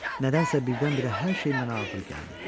Nədənsə birdən-birə hər şey mənə ağır gəldi.